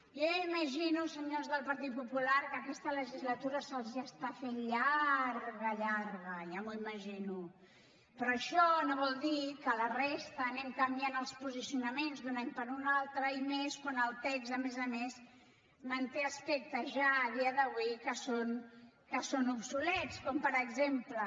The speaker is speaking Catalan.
jo ja imagino senyors del partit popular que aquesta legislatura se’ls està fent llarga llarga ja m’ho imagino però això no vol dir que la resta anem canviant els posicionaments d’un any per un altre i menys quan el text a més a més manté aspectes ja a dia d’avui que són obsolets com per exemple